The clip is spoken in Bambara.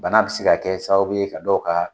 Bana bi se ka kɛ sababu ka dɔw ka